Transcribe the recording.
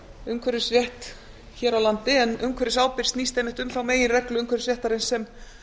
umhverfisrétt hér á landi en umhverfisábyrgð snýst einmitt um þá meginreglu umhverfisréttarins sem